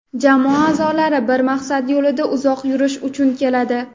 jamoa aʼzolari bir maqsad yo‘lida uzoq yurish uchun keladi;.